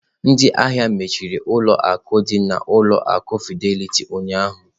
Ndị ahịa mechiri ụlọ akụ dị na ụlọ akụ Fidelity ụnyahụ.